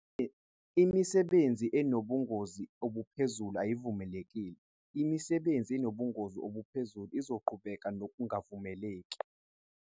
Imisebenzi yomnotho enobungozi obuphezulu ayivumelekile. Imisebenzi enobungozi obuphezulu izoqhubeka nokungavumeleki.